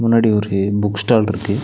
முன்னாடி ஒரு book stall இருக்கு.